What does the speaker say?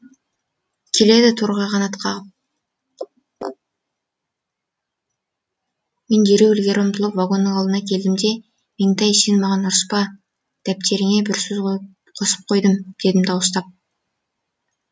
келеді торғай қанат қағып мен дереу ілгері ұмтылып вагонның алдына келдім де меңтай сен маған ұрыспа дәптеріңе бір сөз қосып қойдым дедім дауыстап